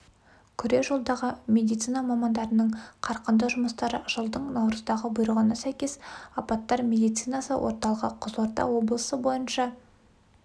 күре жолдағы медицина мамандарының қарқынды жұмыстары жылдың наурыздағы бұйрығына сәйкес апаттар медицинасы орталығы қызылорда облысы бойынша